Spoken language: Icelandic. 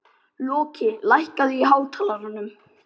Loki, lækkaðu í hátalaranum.